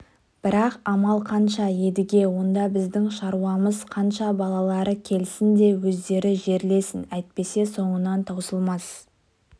бірақ амал қанша едіге онда біздің шаруамыз қанша балалары келсін де өздері жерлесін әйтпесе соңынан таусылмас